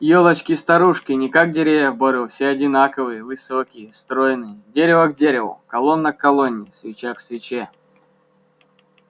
ёлочки-старушки не как деревья в бору все одинаковые высокие стройные дерево к дереву колонна к колонне свеча к свече